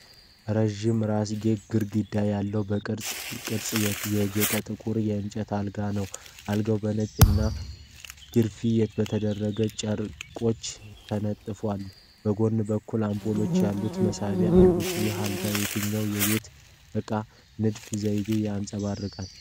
ረዥም ራስጌና ግርጌ ያለው በቅርጻ ቅርጽ ያጌጠ ጥቁር የእንጨት አልጋ ነው። አልጋው በነጭ እና ግርፌ በተደረገባቸው ጨርቆች ተነጥፎ፣ በጎን በኩልም አምፖሎች ያሉት መሳቢያዎች አሉ። ይህ አልጋ የትኛውን የቤት እቃ ንድፍ ዘይቤ ያንፀባርቃል?